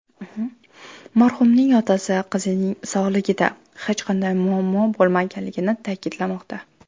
Marhumning otasi qizining sog‘lig‘ida hech qanday muammo bo‘lmaganligini ta’kidlamoqda.